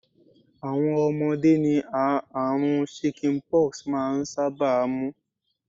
Àwọn ọmọdé ni àrùn 'chicken pox' maa n sábà mú.